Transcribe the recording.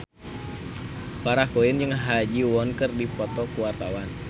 Farah Quinn jeung Ha Ji Won keur dipoto ku wartawan